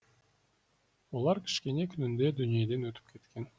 олар кішкене күнінде дүниеден өтіп кеткен